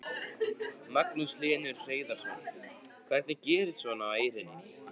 Magnús Hlynur Hreiðarsson: Hvernig gerist svona á Eyrinni?